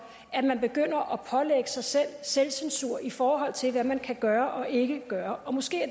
at man begynder at pålægge sig sig selv censur i forhold til hvad man kan gøre og ikke gøre og måske er